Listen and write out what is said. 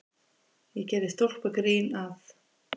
Ég gerði stólpagrín að